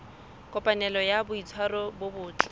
kopanelo ya boitshwaro bo botle